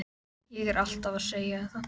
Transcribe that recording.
Ég er alltaf að segja þér það!